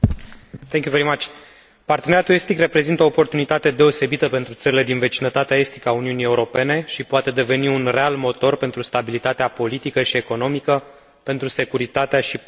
Parteneriatul estic reprezintă o oportunitate deosebită pentru țările din vecinătatea estică a Uniunii Europene și poate deveni un real motor pentru stabilitatea politică și economică, pentru securitatea și prosperitatea acestor țări.